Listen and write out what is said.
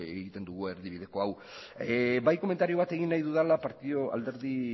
egiten dugu erdibideko hau bai komentario bat egin nahi dudala alderdi